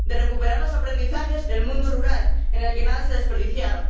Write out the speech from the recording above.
de recuperar los aprendizajes del mundo rural, en el que nada se desperdiciaba